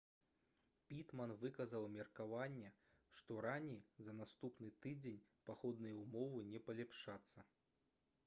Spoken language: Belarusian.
пітман выказаў меркаванне што раней за наступны тыдзень пагодныя ўмовы не палепшацца